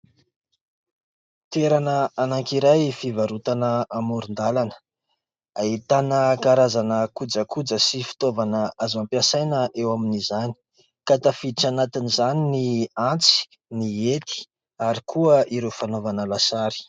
Toerana anankiray fivarotana amoron-dalana, ahitana karazana kojakoja sy fitaovana azo ampiasaina eo amin'izany ka tafiditra anatin'izany ny antsy, ny hety ary koa ireo fanaovana lasary.